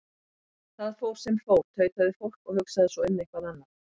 Það fór sem fór, tautaði fólk, og hugsaði svo um eitthvað annað.